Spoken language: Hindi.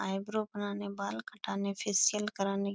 आइब्रो बनाने बाल कटाने फेशियल कराने --